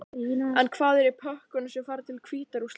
En hvað er í pökkunum sem fara til Hvíta-Rússlands?